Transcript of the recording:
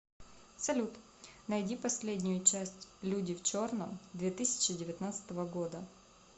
салют найди последнею часть люди в черном две тысячи девятнадцатого года